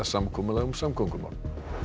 samkomulag um samgöngumál